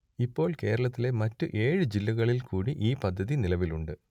ഇപ്പോൾ കേരളത്തിലെ മറ്റ് ഏഴ് ജില്ലകളിൽ കൂടി ഈ പദ്ധതി നിലവിലുണ്ട്